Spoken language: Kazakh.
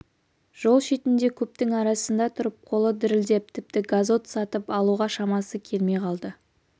жол шетінде көптің арасында тұрып қолы дірілдеп тіпті газот сатып алуға шамасы келмей қалды